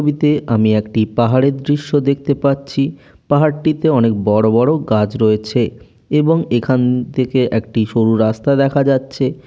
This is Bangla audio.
ছবিতে আমি একটি পাহাড়ের দৃশ্য দেখতে পাচ্ছি। পাহাড় টিতে অনেক বড় বড় গাছ রয়েছেএবং এখান থেকে একটি সরু রাস্তা দেখা যাচ্ছে।